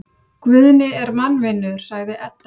Guðni er mannvinur, sagði Edda.